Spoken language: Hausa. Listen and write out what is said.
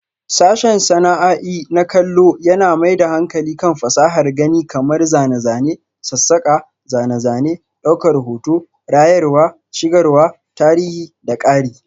Sashen sana'a'i na kallo yana mai da hankali kan fasahar gani kamar zane, zane, sassaka, zane-zane, daukar hoto, rayarwa, shigarwa, tarihi da ƙari.